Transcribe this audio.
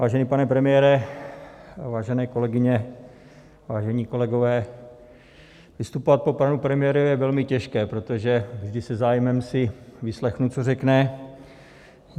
Vážený pane premiére, vážené kolegyně, vážení kolegové, vystupovat po panu premiérovi je velmi těžké, protože vždy se zájmem si vyslechnu, co řekne.